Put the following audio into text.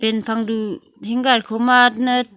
Pen phang du hanger kho ma .]